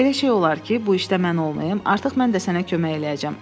Elə şey olar ki, bu işdə mən olmayım, artıq mən də sənə kömək eləyəcəm.